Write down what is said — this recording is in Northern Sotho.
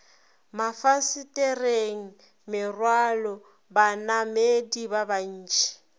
mafasetereng merwalo banamedi ba bantši